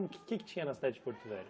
O que é que tinha na cidade de Porto Velho?